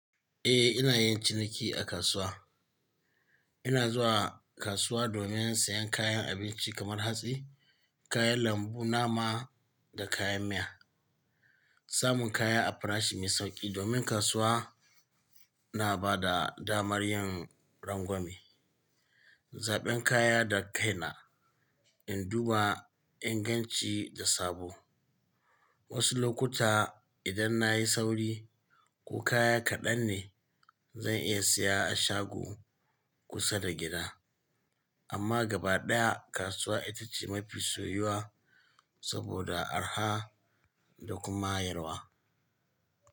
Eh ina yin ciniki a kasuwa. Ina zuwa kasuwa domin sayan kayan abinci kamar hatsi, kayan lambu, nama da kayan miya. Samun kaya a farashi mai sauƙi domin kasuwa na ba da damar yin rangwame, zaɓen kaya da kaina, in duba inganci da sabo. Wasu lokuta idan na yi sauri ko kaya kaɗan ne zan iya siya a shago kusa da gida. Amma gabaɗaya kasuwa ita ce mafi soyuwa saboda araha da kuma hanyarwa.